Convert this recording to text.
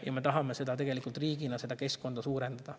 Ja me tahame tegelikult riigina seda keskkonda suurendada.